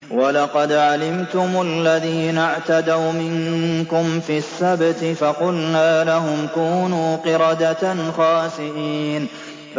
وَلَقَدْ عَلِمْتُمُ الَّذِينَ اعْتَدَوْا مِنكُمْ فِي السَّبْتِ فَقُلْنَا لَهُمْ كُونُوا قِرَدَةً خَاسِئِينَ